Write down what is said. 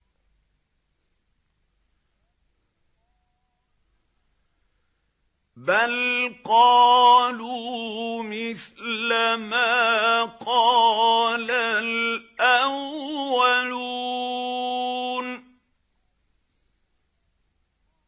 بَلْ قَالُوا مِثْلَ مَا قَالَ الْأَوَّلُونَ